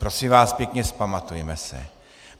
Prosím vás pěkně, vzpamatujme se.